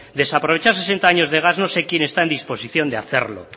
desaprovechar sesenta años de gas no sé quien está en disposición de hacerlo